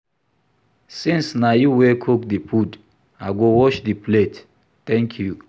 Since na you wey cook the food I go wash the plate thank you